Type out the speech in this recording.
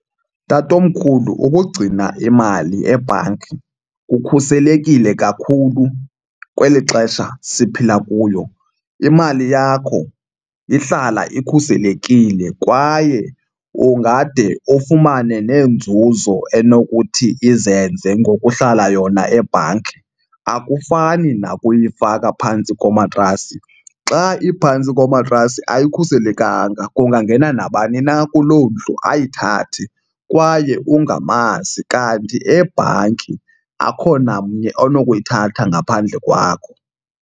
Tatomkhulu ukugcina imali ebhanki kukhuselekile kakhulu kweli xesha siphila kuyo. Imali yakho ihlala ikhuselekile kwaye ungade ufumane neenzuzo enokuthi izenze ngokuhlala yona ebhanki, akufani nakuyifaka phantsi komatrasi. Xa iphantsi komatrasi ayikhuselekanga kungangena nabani na kuloo ndlu ayithathe kwaye ungamazi, kanti ebhanki akho namnye onokuyithatha ngaphandle kwakho.